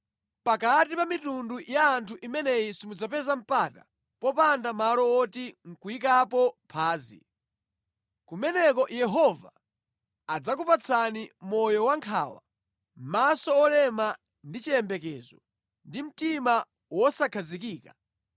Pakati pa mitundu ya anthu imeneyi simudzapeza mpata, popanda malo woti nʼkuyikapo phazi. Kumeneko Yehova adzakupatsani moyo wa nkhawa, maso otopa ndi chiyembekezo, ndi mtima wosakhazikika.